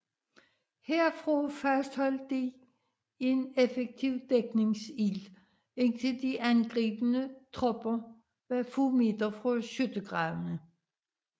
Herfra fastholdt de en effektiv dækningsild indtil de angribende tropper var få meter fra skyttegravene